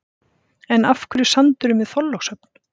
En af hverju sandurinn við Þorlákshöfn?